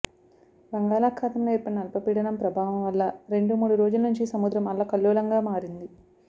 బంగాళాఖాతంలో ఏర్పడిన అల్పపీడనం ప్రభావం వల్ల రెండు మూడు రోజుల నుంచి సముద్రం అల్లకల్లోలంగా మారింది